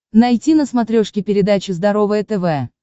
найти на смотрешке передачу здоровое тв